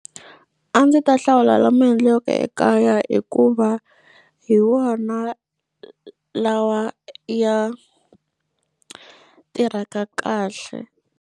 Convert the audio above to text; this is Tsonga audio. A ndzi ta hlawula lama endliweke ekaya hikuva hi wona lawa ya tirhaka kahle.